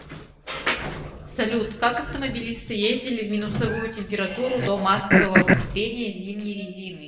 салют как автомобилисты ездили в минусовую температуру до массового внедрения зимней резины